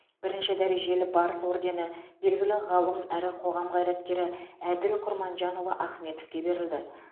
бірінші дәрежелі барыс ордені белгілі ғалым әрі қоғам қайраткері әділ құрманжанұлы ахметовке берілді